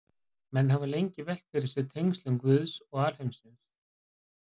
Menn hafa lengi velt fyrir sér tengslum Guðs og alheimsins.